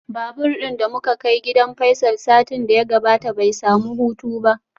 Babur din da muka kai gidan Faisal satin da ya gabata bai samu hutu ba.